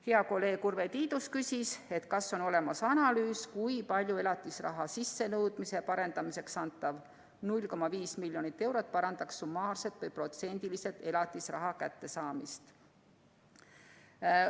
Hea kolleeg Urve Tiidus küsis, kas on olemas analüüs, kui palju elatisraha sissenõudmise parendamiseks antav pool miljonit eurot parandaks summaarselt või protsendiliselt elatisraha kättesaamist.